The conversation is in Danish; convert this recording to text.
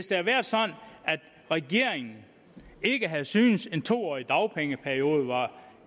regeringen ikke havde syntes at en to årig dagpengeperiode var